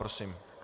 Prosím.